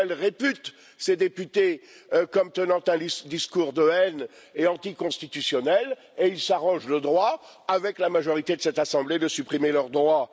Michel répute ces députés comme tenant un discours de haine et anticonstitutionnel, et il s'arroge le droit, avec la majorité de cette assemblée, de supprimer leurs droits.